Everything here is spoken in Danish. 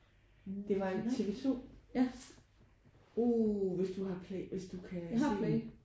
Det var en TV2 uh hvis du har Play hvis du kan se den